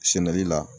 Sɛnɛli la